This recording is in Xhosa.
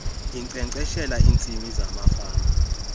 inkcenkceshela iintsimi zamafama